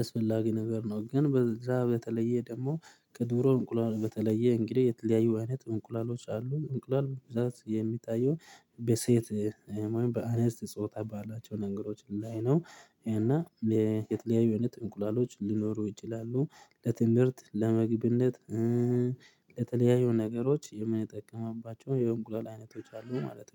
አስፈላጊ ነገር ነው። ግን በዛ በተለየ ደግሞ ከደሮ እንቁላል በተለየ እንግዲህ የተለያዩ አይነት እንቁላሎች አሉ። እንቁላል ብዛት የሚታየው በሴት ወይም በአነስት ጾታ ባላቸው ነገሮች ላይ ነው። እና የተለያዩ አይነት እንቁላሎች ሊኖሩ ይችላሉ። ለትምህርት ለምግብነት ለተለያዩ ነገሮች የምንጠቀምባቸው የእንቁላል አይነቶች አሉ ማለት ነው